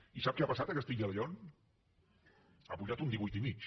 i sap què ha passat a castilla y león ha pujat un divuit i mig